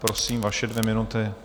Prosím, vaše dvě minuty.